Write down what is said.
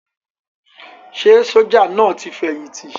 Ṣé sójà náà ti fẹ̀yìntì?